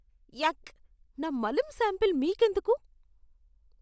యాక్. నా మలం శాంపిల్ మీకెందుకు?